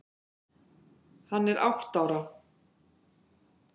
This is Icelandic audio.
Hann er átta ára.